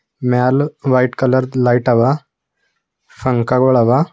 ಮ್ಯಾಲ white colour light ಅವ ಪಂಕ ಗುಳವ.